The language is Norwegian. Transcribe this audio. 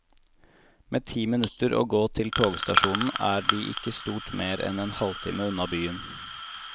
Med ti minutter å gå til togstasjonen er de ikke stort mer enn en halv time unna byen.